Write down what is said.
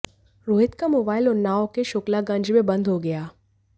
रोहित का मोबाइल उन्नाव के शुक्लागंज में बंद हो गया